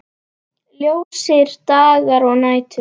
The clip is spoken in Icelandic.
Ljósir dagar og nætur.